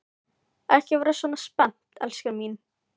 Ekki vera svona spennt, elskan mín.